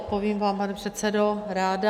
Odpovím vám, pane předsedo, ráda.